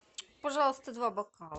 пожалуйста два бокала